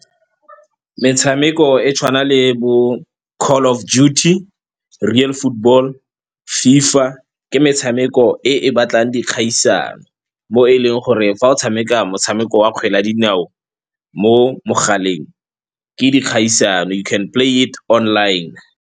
Metshameko e tshwana le bo Call of Duty, Real Football, FIFA ke metshameko e e batlang dikgaisano mo e leng gore fa o tshameka motshameko wa kgwele ya dinao mo mogaleng ke dikgaisano, you can play it online.